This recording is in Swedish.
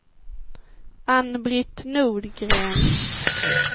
Ann-Britt Nordgren